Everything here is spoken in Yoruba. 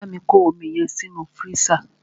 Bámi kọ́ omi yẹn sínú fírísà!